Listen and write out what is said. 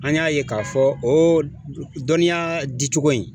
An y'a ye k'a fɔ o dɔniya ditogo in